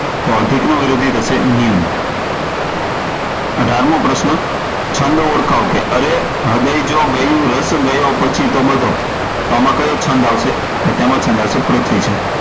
તો અધિક નો વિરોધી થશે નિમ્ન. અઢારમો પ્રશ્ન, છંદ ઓળખાવો, અરે હૃદય જો ગયું, રસ ગયો પછી તો બધો, તો આમા કયો છંદ આવશે? તો આમા છંદ આવશે પૃથ્વી છંદ